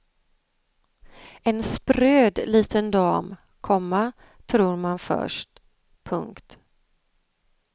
En spröd liten dam, komma tror man först. punkt